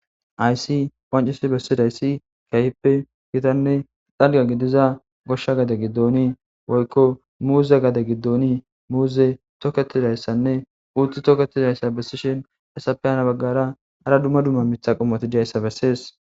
aysi wancisi bessidayssi kayippe gitanne xalga gidiza goshsha gade giddonii woykko muuze gade giddoni muuze tokketidayssanne uutu toketidayssa bessishin essape hana baggara ara dumma dumma mitha qomotijayssa bessees